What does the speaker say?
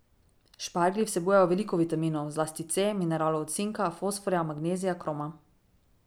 Šparglji vsebujejo veliko vitaminov, zlasti C, mineralov od cinka, fosforja, magnezija, kroma.